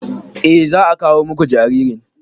Eh za a kawo muku jaririn.